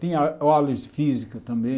Tinha de física também.